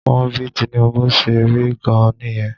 Wọ́n bí Tinubu ṣe rí gan-an nìyẹn